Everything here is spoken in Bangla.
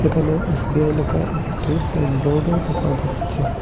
এখানে এস_বি_আই লেকা একটি সাইন বোর্ডও দেকা যাচ্ছে।